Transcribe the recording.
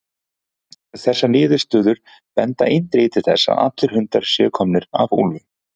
Þessar niðurstöður benda eindregið til þess að allir hundar séu komnir af úlfum.